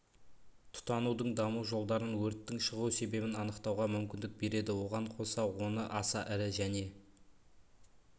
тұтанудың даму жолдарын өрттің шығу себебін анықтауға мүмкіндік береді оған қоса оны аса ірі және